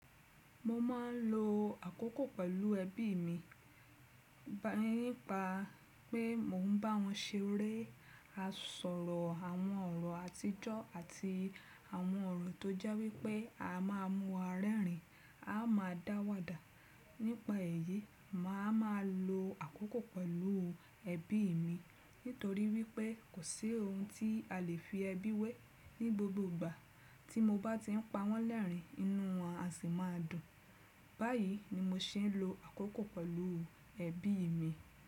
Mo máa ń lo àkókò pẹ̀lú ẹbí mi, nípa pé mò ń bá wọn ṣeré, a sọ̀rọ̀ àwọn ọ̀rọ̀ àtijọ́ àti àwọn ọ̀rọ̀ tó jẹ́ wípé a má a múwa rẹ́rìn, a máa dá wàdà. Nípa èyí, màá ma lo àkókò pẹ̀lú ẹbí mi nítorí wípé kò sí ohun tí a lè fi ẹbí wẹ́ ní gbogbo ìgbà. Tí mo bá ti ń pa wọ́n lẹ́rìn ínú wọn á sì máa dùn. Báyìí ni mo ṣe ń lo àkókò pẹ̀lú ẹbí mi.